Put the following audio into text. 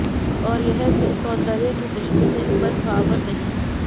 और यह भी सौंदर्य की दृष्टि से मनभावन नहीं है